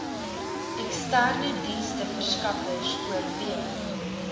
eksterne diensteverskaffers oorweeg